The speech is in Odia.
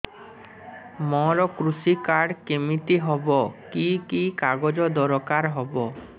ମୋର କୃଷି କାର୍ଡ କିମିତି ହବ କି କି କାଗଜ ଦରକାର ହବ